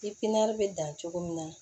bɛ dan cogo min na